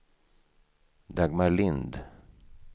Dagmar Lindh